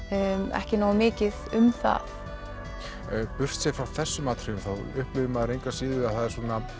ekki nógu mikið um það burtséð frá þessum atriðum þá upplifir maður engu að síður að það er